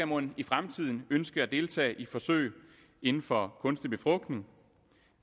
mon i fremtiden ønske at deltage i forsøg inden for kunstig befrugtning